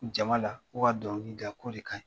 Jama la ko ka dɔnkili da ko de kaɲi.